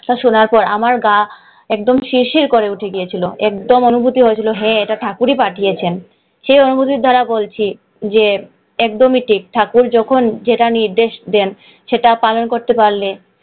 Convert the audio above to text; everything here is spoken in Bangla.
এটা শোনার পরে আমার গা একদম শিরশির করে উঠে গিয়েছিল। একদম অনুভূতি হয়েছিলো যে হ্যাঁ ঠাকুরই পাঠিয়েছেন। সেই অনুভূতি দ্বারা বলছি, যে একদমই ঠিক ঠাকুর যখন যেটা নির্দেশ দেন সেটা পালন করতে পারলে,